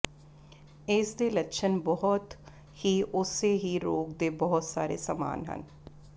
ਇਸ ਦੇ ਲੱਛਣ ਬਹੁਤ ਹੀ ਉਸੇ ਹੀ ਰੋਗ ਦੇ ਬਹੁਤ ਸਾਰੇ ਸਮਾਨ ਹਨ